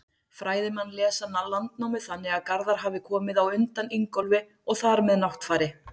Fræðimenn lesa Landnámu þannig að Garðar hafi komið á undan Ingólfi og þar með Náttfari.